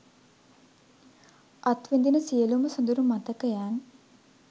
අත්විදින සියළුම සොඳුරු මතකයන්